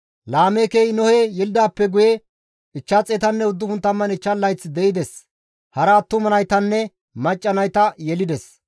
Laameekey Nohe yelidaappe guye 595 layth de7ides; hara attuma naytanne macca nayta yelides.